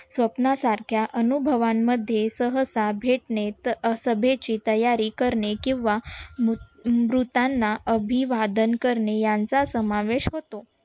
स्वप्नासारख्या अनुभवांमध्ये सहसा भेटणे सभेची तयारी करने किंवा मृतांना अभिवादन करणे यांचा समावेश होतो.